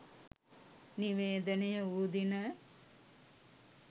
නිවේදනය වූ දින